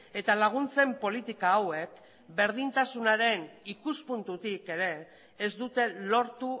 eta laguntzen politika hauek berdintasunaren ikuspuntutik ere ez dute lortu